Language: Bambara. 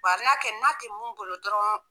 kɛ n'a tɛ mun bolo dɔrɔn